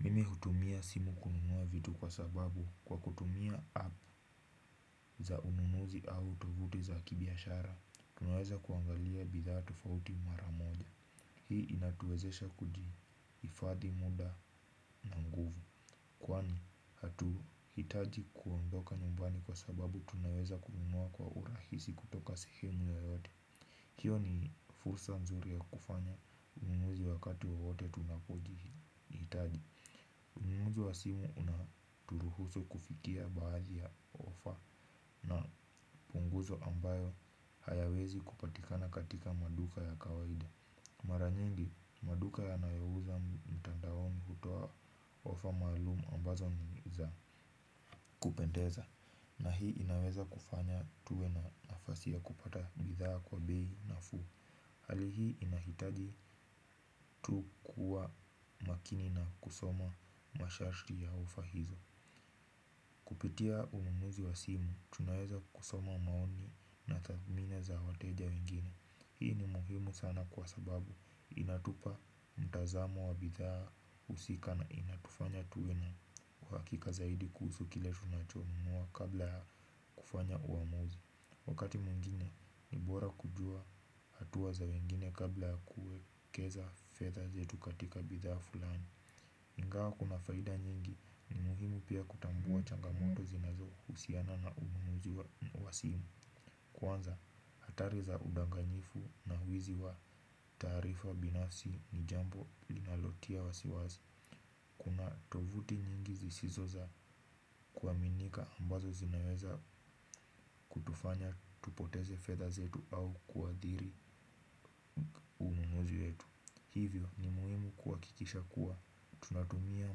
Mimi hutumia simu kununua vitu kwa sababu kwa kutumia app za ununuzi au tovuti za kibiashara. Tunaweza kuangalia bidhaa tofauti maramoja. Hii inatuwezesha kuji ifadhi muda na nguvu. Kwani hatu hitaji kuondoka nyumbani kwa sababu tunaweza kununua kwa urahisi kutoka sehemu yo yote. Hiyo ni fursa nzuri ya kufanya ununuzi wakati wowote tunapoji hitaji. Ununuzi wa simu unaturuhusu kufikia baadhi ya ofa na punguzo ambayo hayawezi kupatikana katika maduka ya kawaida. Maranyingi, maduka ya nao uza mtandaoni kutowa ofa maalumu ambazo niza kupendeza. Na hii inaweza kufanya tuwe na nafasi ya kupata bidhaa kwa bei nafuu. Hali hii inahitaji tu kuwa makini na kusoma masharti ya ofa hizo. Kupitia ununuzi wa simu, tunaweza kusoma maoni na tathimini za wateja wengine. Hii ni muhimu sana kwa sababu inatupa mtazamo wa bidhaa usika na inatufanya tuwe na uwakika zaidi kuhusu kile tunachonunua kabla ya kufanya uwamuzi. Wakati mwingine ni bora kujua hatua za wengine kabla ya kuwekeza fedha zetu katika bidhaa fulani. Ingawa kuna faida nyingi ni muhimu pia kutambua changamoto zinazo usiana na ununuzi wa simu. Kwanza atari za udanganyifu na wizi wa taarifa binafsi ni jambo linalotia wa siwasi. Kuna tovuti nyingi zisizoza kuaminika ambazo zinaweza tufanya tupoteze fedha zetu au kuathiri nunuzi wetu. Hivyo ni muhimu kuha kikisha kuwa, tunatumia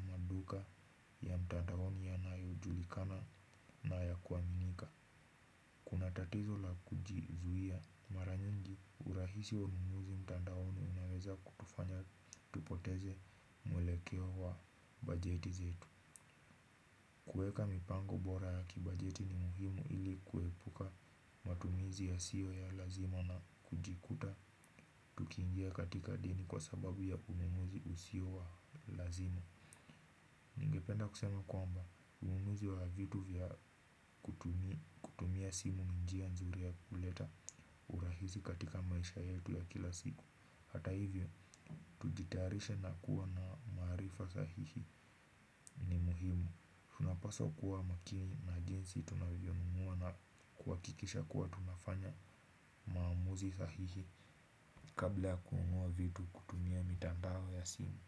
maduka ya mtandaoni ya nayo julikana na ya kuaminika. Unatatizo la kujizuia, maranyingi urahisi wa ununuzi mtandaoni unaweza kutufanya tupoteze mwelekeo wa bajeti zetu. Kuweka mipango bora ya kibajeti ni muhimu ili kuepuka umatumizi ya siyo ya lazima na kujikuta. Ukiingia katika dini kwa sababu ya ununuzi usio wa lazima ningependa kusema kwamba ununuzi wa vitu kutumia simu ni njianzuri ya kuleta urahisi katika maisha yetu hata hivyo kujitayarisha kuwa na maarifa sahihi ni muhimu. Paswa kuwa makini na jinsi tunavyo wema na kuhakikisha kuwa tunafanya maamuzi sahihi. Kabla ya kununua vitu kutumia mitandao ya simu.